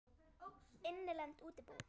Innlend útibú.